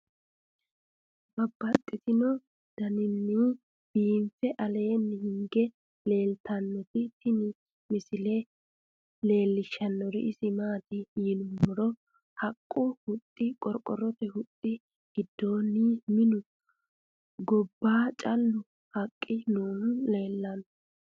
Babaxxittinno daninni biiffe aleenni hige leelittannotti tinni misile lelishshanori isi maattiya yinummoro haqqu huxxi, qoriqorotte huxxi, giddonni minnu, gobba callu haqqi noohu leelanno